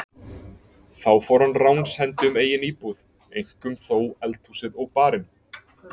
Þá fór hann ránshendi um eigin íbúð, eink- um þó eldhúsið og barinn.